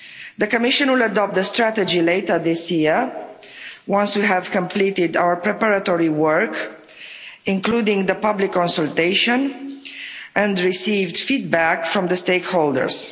The Commission will adopt the strategy later this year, once we have completed our preparatory work, including the public consultation, and received feedback from the stakeholders.